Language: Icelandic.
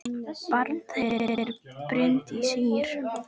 Barn þeirra er Bryndís Ýr.